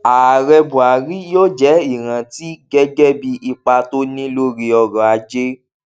ààrẹ buhari yóò jẹ ìrántí gẹgẹ bí ipa tó ní lórí ọrọajé